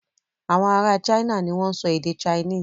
Awọn ará China ni wọ́n ń sọ èdè Chinese.